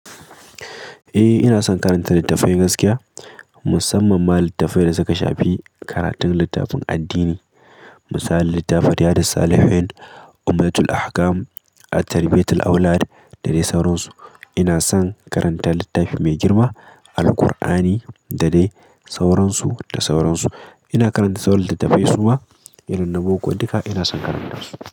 Eh, ina son karanta littattafai gaskiya, musamman ma littattafai da suka shafi karatun littafin addini. Misali littafin Riyadin Salihi'n, Imdatul Ahkam, At-Tarbiatul Awlad da dai sauransu. Ina son karanta littafi mai girma, Alkur'ani da dai sauransu da sauransu. Ina karanta sauran littattafai suma, irin na boko duka ina son karanta su.